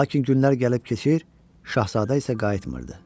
Lakin günlər gəlib keçir, Şahzadə isə qayıtmırdı.